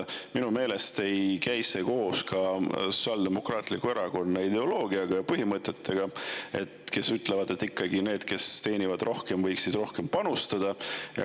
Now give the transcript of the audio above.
Minu meelest ei käi see koos ka Sotsiaaldemokraatliku Erakonna ideoloogiaga ja põhimõtetega, et ikkagi need, kes teenivad rohkem, võiksid rohkem panustada.